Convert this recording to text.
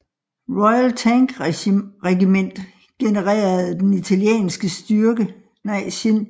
Royal Tank Regiment generede den italienske styrke på skråningen